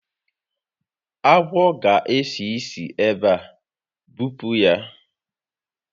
Agwọ a ga esi isi ebe a, bupu ya